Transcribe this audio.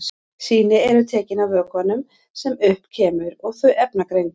Sýni eru tekin af vökvanum sem upp kemur og þau efnagreind.